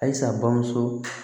Ayisa bamuso